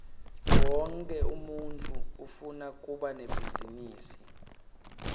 wonkhe umuntfu ufuna kuba nebhizinisi